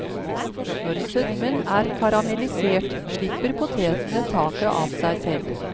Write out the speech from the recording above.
Når sødmen er karamellisert, slipper potetene taket av seg selv.